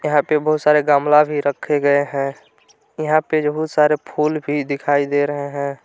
यहां पे बहुत सारे गमला भी रखे गए हैं यहां पे बहुत सारे फूल भी दिखाई दे रहे हैं।